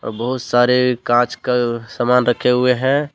बहोत सारे कांच के सामान रखे हुए हैं।